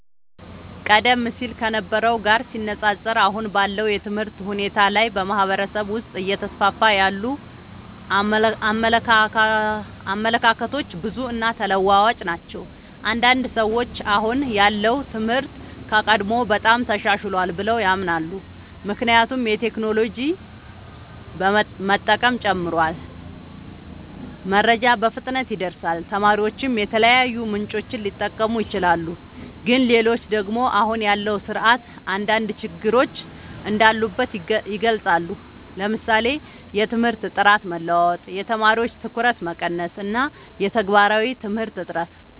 ቀደም ሲል ከነበረው ጋር ሲነፃፀር፣ አሁን ባለው የትምህርት ሁኔታ ላይ በማህበረሰብ ውስጥ እየተስፋፉ ያሉ አመለካከቶች ብዙ እና ተለዋዋጭ ናቸው። አንዳንድ ሰዎች አሁን ያለው ትምህርት ከቀድሞው በጣም ተሻሽሏል ብለው ያምናሉ። ምክንያቱም የቴክኖሎጂ መጠቀም ጨምሯል፣ መረጃ በፍጥነት ይደርሳል፣ ተማሪዎችም የተለያዩ ምንጮችን ሊጠቀሙ ይችላሉ። ግን ሌሎች ደግሞ አሁን ያለው ስርዓት አንዳንድ ችግሮች እንዳሉበት ይገልጻሉ፤ ለምሳሌ የትምህርት ጥራት መለዋወጥ፣ የተማሪዎች ትኩረት መቀነስ እና የተግባራዊ ትምህርት እጥረት።